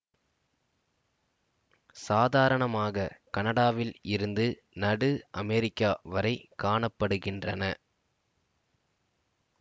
சாதாரணமாக கனடாவில் இருந்து நடு அமெரிக்கா வரை காண படுகின்றன